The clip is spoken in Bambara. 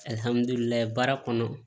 baara kɔnɔ